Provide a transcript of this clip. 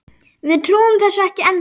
Við trúum þessu ekki ennþá.